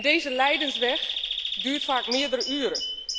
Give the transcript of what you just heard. Deze lijdensweg duurt vaak meerdere uren.